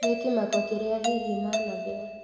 Nĩ kĩmako kĩrĩa hihi managĩa